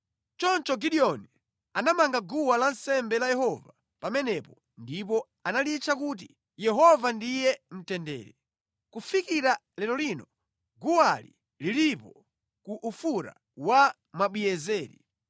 Choncho Gideoni anamanga guwa lansembe la Yehova pamenepo ndipo analitcha kuti, Yehova ndiye mtendere. Kufikira lero lino guwali lilipo ku Ofura wa Mwabiezeri.